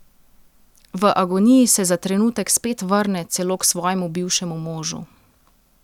V agoniji se za trenutek spet vrne celo k svojemu bivšemu možu.